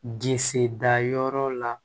Jise yɔrɔ la